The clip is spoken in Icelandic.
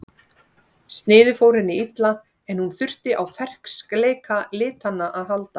Sniðið fór henni illa en hún þurfti á ferskleika litanna að halda.